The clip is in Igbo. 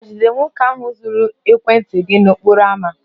Hà jidere nwoke ahụ zuru ekwentị gị n'okporo ámá?